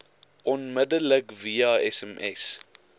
onmiddellik via sms